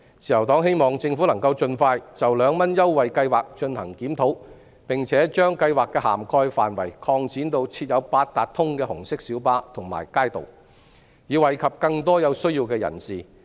自由黨希望政府盡快就2元乘車優惠計劃進行檢討，並把計劃的涵蓋範圍擴展至設有八達通的紅色小巴和街渡，以惠及更多有需要的人士。